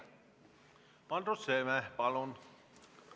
Andrus Seeme, palun!